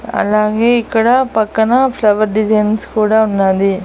అలాగే ఇక్కడ పక్కన ఫ్లవర్ డిజైన్స్ కూడా ఉన్నాది.